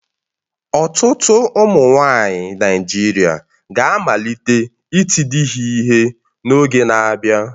Ọtụtụ ụmụnwaanyị Naịjirịa ga-amalite iti di ha ihe n'oge na-abịa